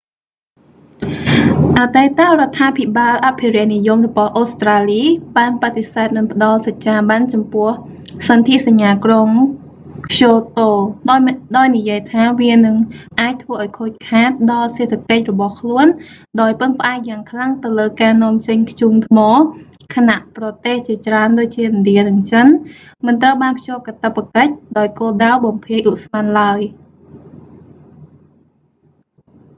អតីតរដ្ឋាភិបាលអភិរក្សនិយមរបស់អូស្រ្តាលី បានបដិសេធមិនផ្តល់សច្ចាប័នចំពោះសទ្ធិសញ្ញាក្រុងក្យូតូ ដោយនិយាយថា វានឹងអាចធ្វើឱ្យខូចខាតដល់សេដ្ឋកិច្ចរបស់ខ្លួនដោយពឹងផ្អែកយ៉ាងខ្លាំងទៅលើការនាំចេញធ្យូងថ្ម ខណៈប្រទេសជាច្រើនដូចជា ឥណ្ឌានិងចិន មិនត្រូវបានភ្ជាប់កាតព្វកិច្ច ដោយគោលដៅបំភាយឧស្ម័នឡើយ